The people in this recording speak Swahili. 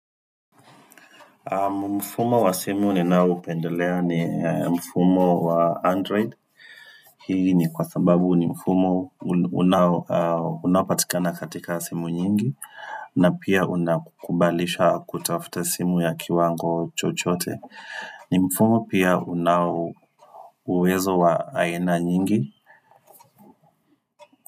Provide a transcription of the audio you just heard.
Mfumo wa simu ninaoupendelea ni mfumo wa android Hii ni kwa sababu ni mfumo unapatikana katika simu nyingi na pia unakukubalisha kutafuta simu ya kiwango chochote ni mfumo pia una uwezo wa aina nyingi.